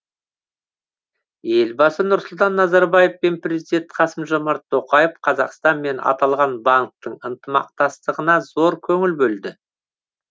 елбасы нұрсұлтан назарбаев пен президент қасым жомарт тоқаев қазақстан мен аталған банктің ынтымақтастығына зор көңіл бөлді